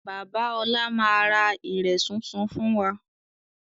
Bàbá ọlá máa ra ìrẹ̀ súnsun fún wa